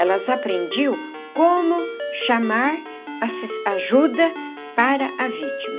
Elas aprendiam como chamar ajuda para a vítima.